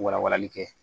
Wala walali kɛ